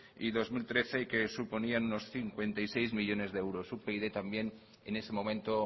y dos mil trece que suponían unos cincuenta y seis millónes de euros upyd también en ese momento